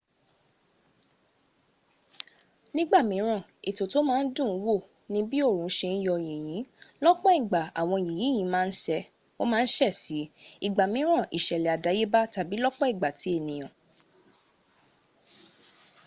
nígbà míràn ètò tó má ń dùn ún wò ní bí òòrùn se ń yọ́ yìnyín lọ́pọ̀ ìgbà àwọn yìnyín ma ń se sí i ìgbàmíran ìṣẹ̀lẹ̀ àdáyébá tàbí lọ́pọ̀ ìgbà ti ènìyàn